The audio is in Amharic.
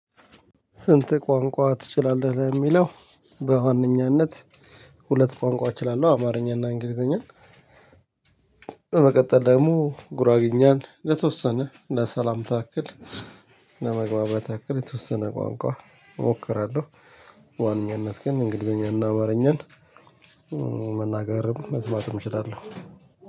ስንት ቋንቋ ትችላለህ ለሚለው? በዋነኛነት ሁለት ቋንቋ እችላለሁ አማርኛና እንግሊዘኛ በመቀጠል ደግሞ ጉራጌኛን ለተወሰነ ለሰላምታ ያክል ለመግባባት ያክል የተወሰነ ቋንቋ እሞክራለሁ። በዋናነት ግን እንግሊዘኛ እና አማርኛን መናገርም መስማትም እችላለሁ።